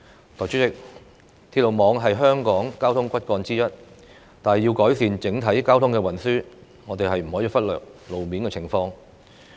代理主席，鐵路網是香港的交通骨幹之一，但要改善整體交通運輸，我們不可以忽略路面情況。